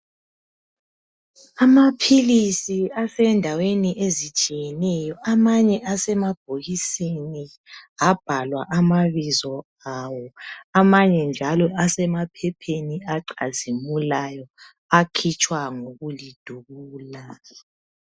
Amaphilisi asendaweni ezitshiyeneyo amanye asemabhokisini abhalwa amabizo awo amanye njalo asemaphepheni acazimulayo akhitshwa ngokulidubula